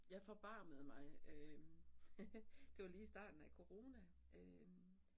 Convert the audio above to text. Jeg forbarmede mig øh det var lige i starten af corona øh